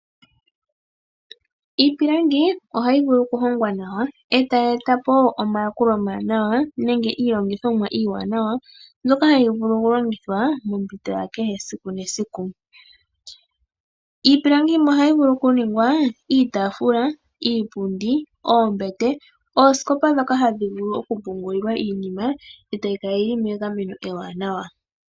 Iipilangi ohayi vulu okuhongwa nawa, e ta yi eta po omayakulo omawanawa nenge iilongithomwa mbyoka hayi vulu okulongithwa mompito ya kehe esiku nesiku. Iipilangi yimwe ohayi vulu okuningwa iitaafula, iipundi, oombete, oosikopa ndhoka hadhi vulu okupungulilwa iinima e ta yi kala yi li megameno ewanawa.